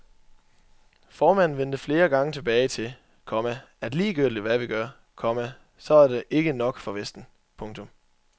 Formanden vendte flere gange tilbage til, komma at ligegyldigt hvad vi gør, komma så er det ikke nok for vesten. punktum